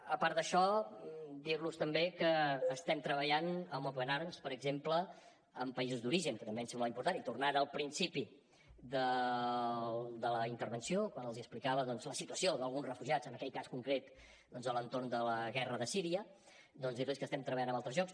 a part d’això dir los també que estem treballant amb open arms per exemple en països d’origen que també em sembla important i tornant al principi de la intervenció quan els explicava la situació d’alguns refugiats en aquell cas concret a l’entorn de la guerra de síria dir los que estem treballant amb altres llocs